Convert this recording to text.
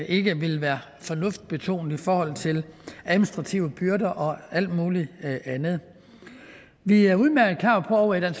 ikke vil være fornuftsbetonet i forhold til administrative byrder og alt mulig andet vi er udmærket klar over i